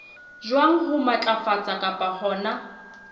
jwang ho matlafatsa kapa hona